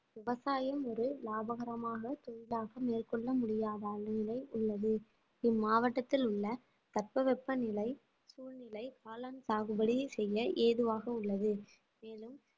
விவசாயம் ஒரு லாபகரமாக தொழிலாக மேற்கொள்ள முடியாத நிலை உள்ளது இம்மாவட்டத்தில் உள்ள தட்பவெப்பநிலை சூழ்நிலை காளான் சாகுபடி செய்ய ஏதுவாக உள்ளது மேலும்